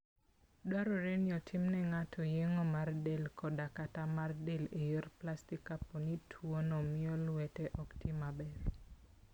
Dwarore ni itimo ne ng'ato yeng'o mar del koda/kata mar del e yor plastik kapo ni tuwono miyo lwete ok ti maber.